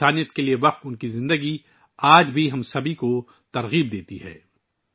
انسانیت کے لیے وقف ان کی زندگی آج بھی ہم سب کو متاثر کرتی ہے